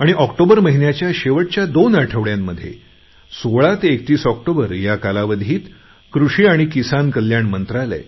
आणि ऑक्टोबर महिन्याच्या शेवटच्या दोन आठवड्यांमध्ये 16 ते 31 ऑक्टोबर या कालावधीत कृषी आणि शेतकरी कल्याण मंत्रालय